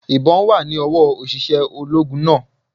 Ìbón wà ní owó òṣìṣẹ́ ológun náà